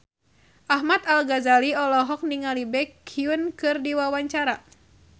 Ahmad Al-Ghazali olohok ningali Baekhyun keur diwawancara